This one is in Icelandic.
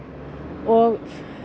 og